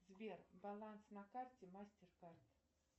сбер баланс на карте мастеркард